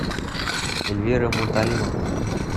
эльвира муталимовна